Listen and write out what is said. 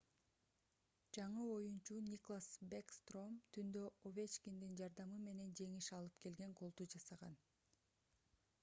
жаңы оюнчу никлас бэкстром түндө овечкиндин жардамы менен жеңиш алып келген голду жасаган